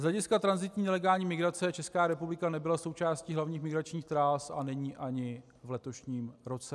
Z hlediska tranzitní nelegální migrace Česká republika nebyla součástí hlavních migračních tras a není ani v letošním roce.